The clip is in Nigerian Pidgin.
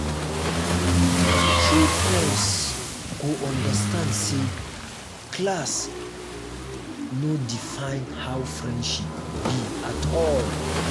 true friends go understand say class no define how friendship be at all.